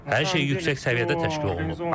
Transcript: Hər şey yüksək səviyyədə təşkil olunub.